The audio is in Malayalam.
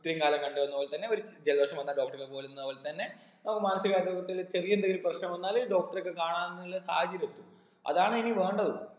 ഇത്രേം കാലം കണ്ട് വന്ന പോലെ തന്നെ ഒരു ജലദോഷം വന്നാൽ doctor അടുക്ക പോലുന്ന പോൽതന്നെ അപ്പൊ മാനസിക ആരോഗ്യത്തിൽ ചെറിയ എന്തെങ്കിലും പ്രശ്നം വന്നാല് doctor റെ ഒക്കെ കാണാന്നുള്ള സാഹചര്യം എത്തും അതാണ് ഇനി വേണ്ടത്